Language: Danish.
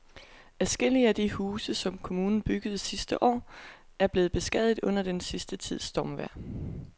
Adskillige af de huse, som kommunen byggede sidste år, er blevet beskadiget under den sidste tids stormvejr.